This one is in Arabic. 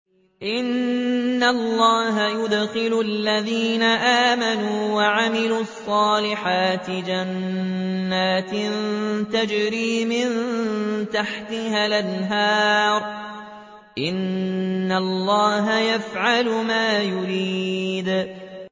إِنَّ اللَّهَ يُدْخِلُ الَّذِينَ آمَنُوا وَعَمِلُوا الصَّالِحَاتِ جَنَّاتٍ تَجْرِي مِن تَحْتِهَا الْأَنْهَارُ ۚ إِنَّ اللَّهَ يَفْعَلُ مَا يُرِيدُ